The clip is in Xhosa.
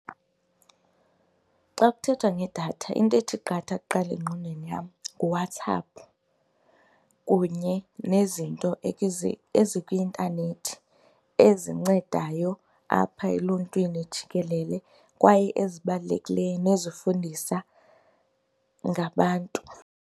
Xa kuthethwa ngedatha into ethi qatha kuqala engqondweni yam nguWhatsApp kunye nezinto ezikwi-intanethi ezincedayo apha eluntwini jikelele kwaye ezibalulekileyo nezifundisa ngabantu.